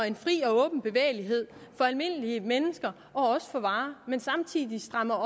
en fri og åben bevægelighed for almindelige mennesker og også for varer men samtidig strammer